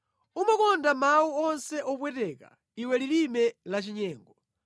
Umakonda mawu onse opweteka, iwe lilime lachinyengo!